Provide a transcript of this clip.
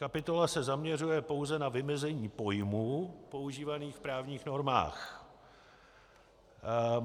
Kapitola se zaměřuje pouze na vymezení pojmů používaných v právních normách.